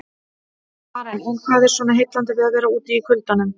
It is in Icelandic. Karen: En hvað er svona heillandi við að vera úti í kuldanum?